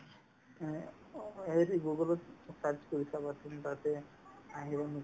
অ, এই যি google ত search কৰি চাবা তুমি তাতে আহি যাব